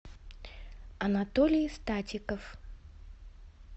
анатолий статиков